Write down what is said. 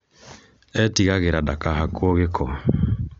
etigagĩra ndakahakwo gĩko